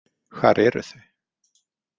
Hvar eru þau?